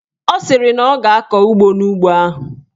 Ọ sịrị na ọ ga-akọ ụgụ n'ugbo ahụ.